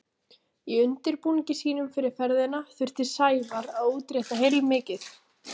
Í undirbúningi sínum fyrir ferðina þurfti Sævar að útrétta heilmikið.